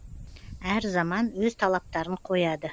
әр заман өз талаптарын қояды